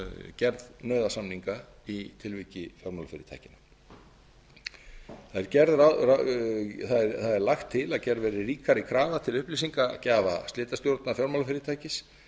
gerð nauðasamninga í tilviki fjármálafyrirtækja það er lagt til að gerð verði ríkari krafa til upplýsingagjafa slitastjórnar fjármálafyrirtækis